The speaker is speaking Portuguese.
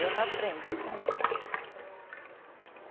Eu não aprendi com ninguém.